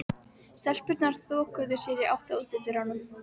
Stelpurnar þokuðu sér í átt að útidyrunum.